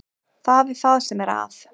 Það er það sem er að.